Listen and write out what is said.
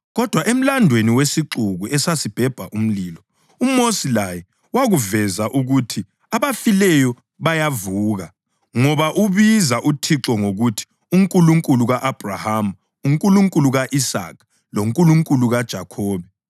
Kodwa emlandweni wesixuku esasibhebha umlilo, uMosi laye wakuveza ukuthi abafileyo bayavuka, ngoba ubiza uThixo ngokuthi ‘uNkulunkulu ka-Abhrahama, uNkulunkulu ka-Isaka, loNkulunkulu kaJakhobe.’ + 20.37 U-Eksodasi 3.6